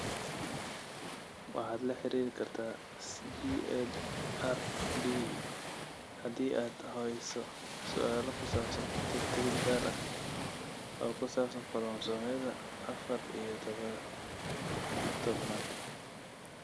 Waxaad la xiriiri kartaa GARD haddii aad hayso su'aalo ku saabsan tirtirid gaar ah oo ku saabsan koromosoomyada afaar iyo tobnaad